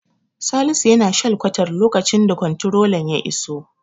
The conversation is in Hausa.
Salisu yana shalkwatar lokacin the komtirolan ya iso.